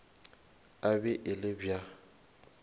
e be e le bja